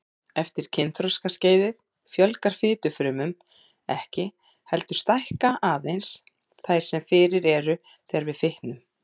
Eftir kynþroskaskeiðið fjölgar fitufrumum ekki, heldur stækka aðeins þær sem fyrir eru þegar við fitnum.